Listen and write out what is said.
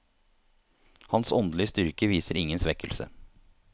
Hans åndelige styrke viste ingen svekkelse.